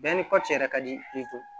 Bɛɛ ni kɔci yɛrɛ ka di